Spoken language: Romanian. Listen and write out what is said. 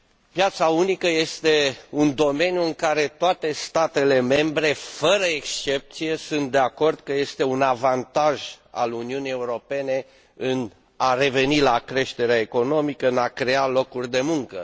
Piața unică este un domeniu despre care toate statele membre, fără excepție, sunt de acord că este un avantaj al Uniunii Europene pentru a reveni la creșterea economică, pentru a crea locuri de muncă.